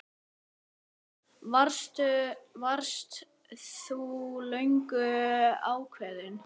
Erla: Varst þú löngu ákveðin?